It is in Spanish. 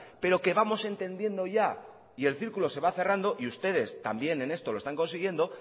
pero que vamos entendiendo ya y el círculo se va cerrando y ustedes también en esto lo están consiguiendo